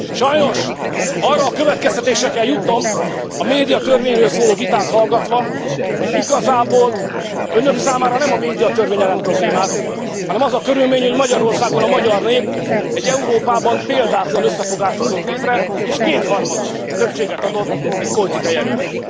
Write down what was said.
Sajnos arra a következtetésre kell jutnom a médiatörvényről szóló vitát hallgatva, hogy igazából önök számára nem a médiatörvény jelent problémát, hanem az a körülmény, hogy Magyarországon a magyar nép egy Európában példátlan összefogást hozott létre és kétharmados többséget adott egy politikai erőnek.